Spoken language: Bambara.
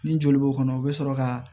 Ni joli b'o kɔnɔ o bɛ sɔrɔ ka